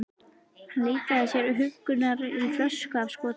Hann leitaði sér huggunar í flösku af skota.